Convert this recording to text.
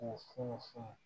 K'u funu funu